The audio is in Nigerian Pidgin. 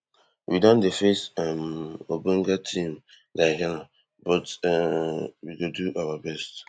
we don dey face um ogbonge team like ghana but um we go do our best